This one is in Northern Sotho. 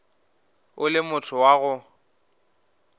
o le motho wa go